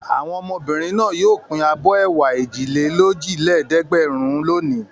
Àwọn ọmọbìnrin náà yóò pín abọ́ ẹ̀wà èjìlélójìlẹ́ẹ̀dẹ́gbẹ̀rún lónìí.